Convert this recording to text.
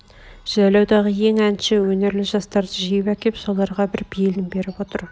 жайлаудағы ең әнші өнерлі жастарды жиып әкеп соларға бар бейілн беріп отыр